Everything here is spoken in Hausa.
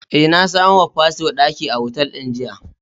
Eh, na samo wa fasto daki a otal din jiya.